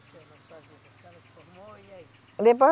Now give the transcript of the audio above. na sua vida? A senhora se formou, e aí? Depois